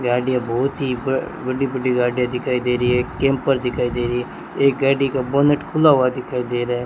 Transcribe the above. गाड़ियां बहोत ही बड़ी-बड़ी गाड़ीया दिखाई दे रही है कैंपर दिखाई दे रही है एक गाड़ी का बोनट खुला हुआ दिखाई दे रहा --